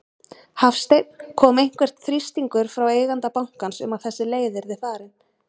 Hafsteinn: Kom til einhver þrýstingur frá eiganda bankans um að þessi leið yrði farin?